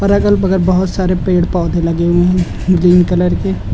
और अगल बगल बहोत सारे पेड़ पौधे लगे हुए हैं ग्रीन कलर के --